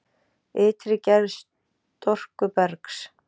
Ytri gerð storkubergs